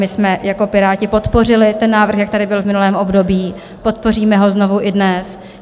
My jsme jako Piráti podpořili ten návrh, jak tady byl v minulém období, podpoříme ho znovu i dnes.